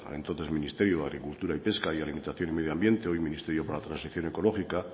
entonces ministerio de agricultura y pesca y alimentación y medio ambiente hoy ministerios para la transición ecológica